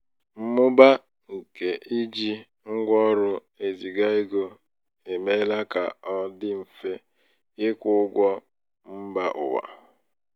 mmụba nke iji ngwa ọrụ eziga ego emeela ka ọ dị mfe ịkwụ ụgwọ mbà ụwa. um